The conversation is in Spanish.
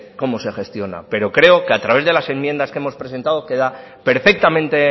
cómo se gestiona pero creo que a través de las enmiendas que hemos presentado queda perfectamente